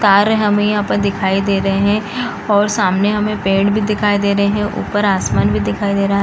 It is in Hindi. कार हमें यहाँ पर दिखाई दे रहे हैं और सामने हमें पेड़ भी दिखाई दे रहे हैं ऊपर आसमान भी दिखाई दे रहा --